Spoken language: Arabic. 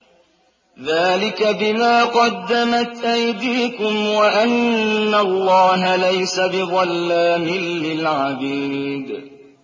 ذَٰلِكَ بِمَا قَدَّمَتْ أَيْدِيكُمْ وَأَنَّ اللَّهَ لَيْسَ بِظَلَّامٍ لِّلْعَبِيدِ